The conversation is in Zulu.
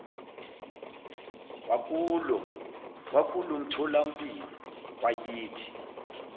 wakulo mtholampilo wakithi